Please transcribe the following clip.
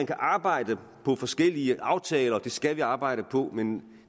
kan arbejde på forskellige aftaler og det skal vi arbejde på men